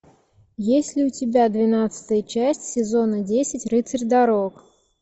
есть ли у тебя двенадцатая часть сезона десять рыцарь дорог